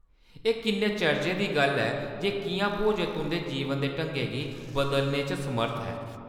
एह्‌‌ किन्ने चर्जै दी गल्ल ऐ जे किʼयां भोजन तुंʼदे जीवन दे ढंगै गी बदलने च समर्थ ऐ।